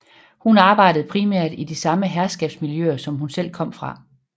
Hun arbejdede primært i de samme herskabsmiljøer som hun selv kom fra